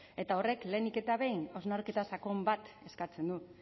eta horrek lehenik eta behin hausnarketa sakon bat eskatzen du